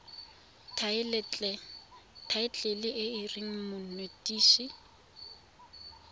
thaetlele e e reng monetetshi